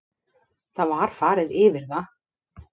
Það var farið yfir það